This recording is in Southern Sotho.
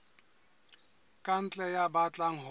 ka ntle ya batlang ho